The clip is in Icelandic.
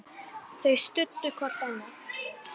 Þau studdu hvort annað.